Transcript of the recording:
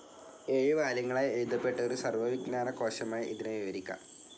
ഏഴു വാല്യങ്ങളായി എഴുതപ്പെട്ട ഒരു സർവ്വ വിജ്ഞാന കോശമായി ഇതിനെ വിവരിക്കാം.